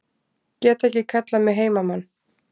Get ekki kallað mig heimamann